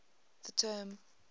the term